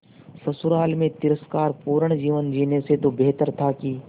ससुराल में तिरस्कार पूर्ण जीवन जीने से तो बेहतर था कि